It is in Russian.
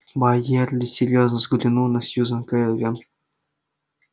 байерли серьёзно взглянул на сьюзен кэлвин